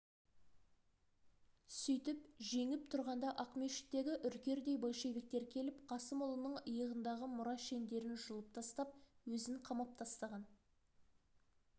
сүйтіп жеңіп тұрғанда ақмешіттегі үркердей большевиктер келіп қасымұлының иығындағы мұра шендерін жұлып тастап өзін қамап тастаған